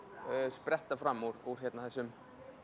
spretta fram úr þessum